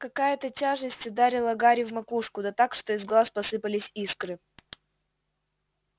какая-то тяжесть ударила гарри в макушку да так что из глаз посыпались искры